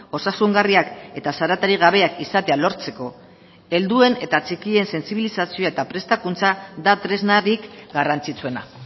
osasungarriak eta zaratarik gabeak izatea lortzeko helduen eta txikien sentsibilizazioa eta prestakuntza da tresnarik garrantzitsuena